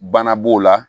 Bana b'o la